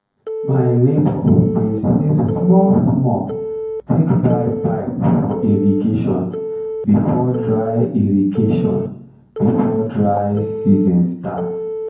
my neighbour bin save small small take buy pipe for irrigation before dry irrigation before dry season start